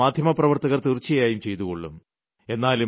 അത് മാധ്യമപ്രവർത്തകർ തീർച്ചയായും ചെയ്തുകൊള്ളും